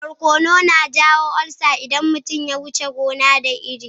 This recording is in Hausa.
Barkono na iya jawo ulcer idan mutum ya wuce gona da iri.